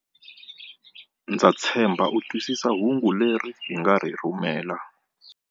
Ndza tshemba u twisisa hungu leri hi nga ri rhumela.